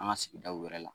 An ka sigidaw wɛrɛ la